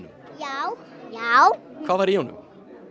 já já hvað var í honum